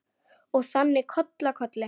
Og þannig koll af kolli.